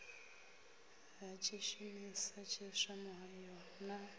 ha tshishumisa tshiswa muhayo na